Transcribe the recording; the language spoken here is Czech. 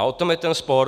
A o tom je ten spor.